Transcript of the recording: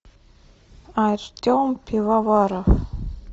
артем пивоваров